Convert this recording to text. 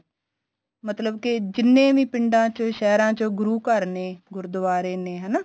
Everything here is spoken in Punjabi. ਮਤਲਬ ਕੀ ਜਿੰਨੇ ਵੀ ਪਿੰਡਾ ਚ ਸਹਿਰਾ ਚ ਗੁਰੂ ਘਰ ਨੇ ਗੁਰਦੁਆਰੇ ਨੇ ਹਨਾ